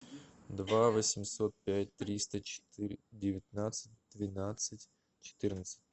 два восемьсот пять триста четыре девятнадцать двенадцать четырнадцать